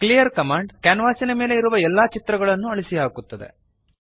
clear command ಕ್ಯಾನ್ವಾಸಿನ ಮೇಲೆ ಇರುವ ಎಲ್ಲಾ ಚಿತ್ರಗಳನ್ನು ಅಳಿಸಿಹಾಕುತ್ತದೆ